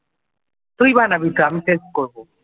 তুই বানাবি তো? আমি help করব।